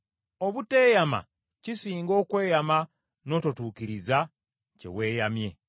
Obuteyama kisinga okweyama n’ototuukiriza kye weeyamye.